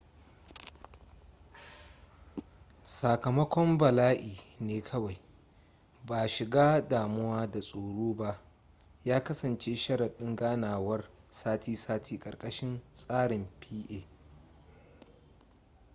sakamakon bala'i ne kawai ba shiga damuwa da tsoro ba ya kasance sharaɗin ganawar sati-sati karkashin tsarin pa